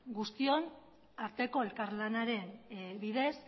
guztion arteko elkarlanaren bidez